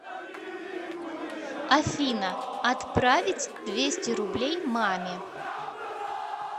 афина отправить двести рублей маме